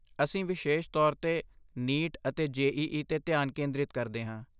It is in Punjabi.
ਅਸੀਂ ਵਿਸ਼ੇਸ਼ ਤੌਰ 'ਤੇ ਨੀਟ ਅਤੇ ਜੇ.ਈ.ਈ. 'ਤੇ ਧਿਆਨ ਕੇਂਦਰਿਤ ਕਰਦੇ ਹਾਂ।